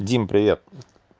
дима привет